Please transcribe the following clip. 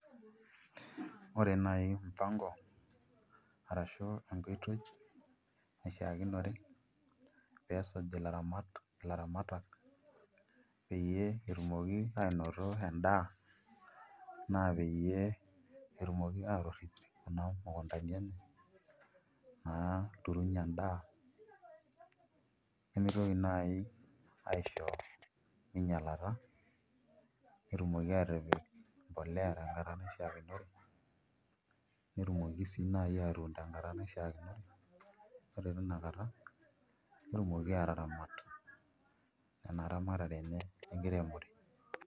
Ore naai mpango arashu enkoitoi naishiakino pee esuj ilaramatak peyie etumoki aanoto endaa naa peyie etumoki aatorrip kuna mukundani enye naaturunyie endaa nemitoki naai aisho minyialata netumoki aatipik mbolea tenkata nashiakinore, netumoki naa ake sii aatun tenkata naishiakinore ore tina kata netumoki aataramat ena ramatare enye enkiremore.